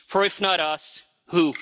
For, if not us, who?